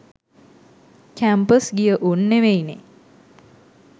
Campus ගිය උන් නෙවෙයිනේ.